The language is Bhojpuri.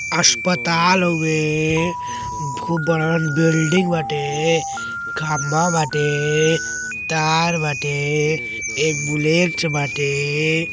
अस्पताल हवे। खूब बड़हन बिल्डिंग बाटे खंबा बाटे तार बाटे एक बुलेट बाटे।